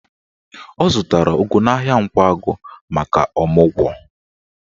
Ọ zụtara ụgụ n'ahịa Nkwagụ maka ọmụgwọ.